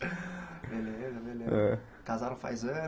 Beleza, beleza. Hã Casaram faz